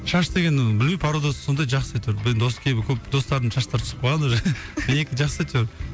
шаш деген ы білмеймін породасы сондай жақсы әйтеуір бір дос кейбір көп достарымның шаштары түсіп қалған уже менікі жақсы әйтеуір